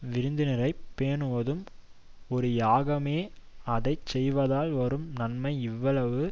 விருந்தினரை பேணுவதும் ஒரு யாகமே அதை செய்வதால் வரும் நன்மை இவ்வளவு